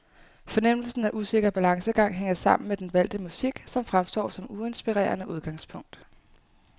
Fornemmelsen af usikker balancegang hænger sammen med den valgte musik, som fremstår som uinspirerende udgangspunkt.